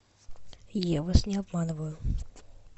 я вас не обманываю